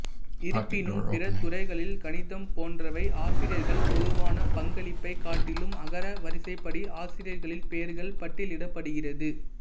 இருப்பினும் பிற துறைகளில் கணிதம் போன்றவை ஆசிரியர்கள் பொதுவான பங்களிப்பைக் காட்டிலும் அகர வரிசைப்படி ஆசிரியர்களின் பெயர்கள் பட்டியலிடப்படுகிறது